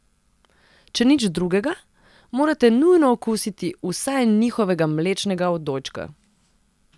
Če nič drugega, morate nujno okusiti vsaj njihovega mlečnega odojčka.